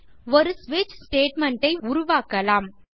ஒரு ஸ்விட்ச் ஸ்டேட்மெண்ட் ஐ உருவாக்கலாம்